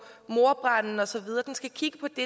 mordbranden og så videre den skal kigge på det